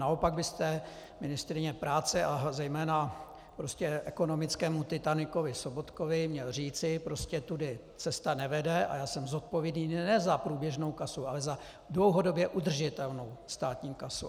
Naopak byste ministryni práce a zejména ekonomickému titanikovi Sobotkovi měl říci: Prostě tudy cesta nevede a já jsem zodpovědný ne za průběžnou kasu, ale za dlouhodobě udržitelnou státní kasu.